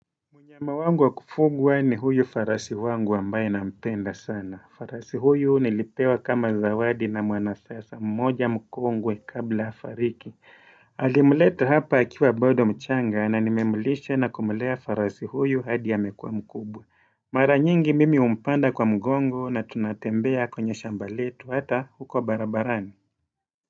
Mnyama wangu wa kufugwa ni huyu farasi wangu ambaye nampenda sana. Farasi huyu nilipewa kama zawadi na mwanasiasa mmoja mkongwe kabla afariki. Alimleta hapa akiwa bado mchanga na nimemlisha na kumlea farasi huyu hadi amekuwa mkubwa. Mara nyingi mimi umpanda kwa mgongo na tunatembea kwenye shamba letu hata huko barabarani.